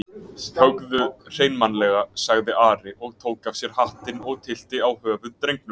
Höggðu hreinmannlega, sagði Ari og tók af sér hattinn og tyllti á höfuð drengnum.